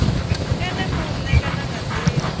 ene muṋe kana nga ndila